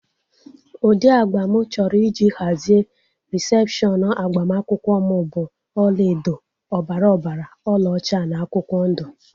Ụdị agba mụ chọrọ iji hazie rịsepshọnu agbamakwụkwọ m bụ ọlaedo, ọbara ọbara, ọla ọcha na akwụkwọ ndụ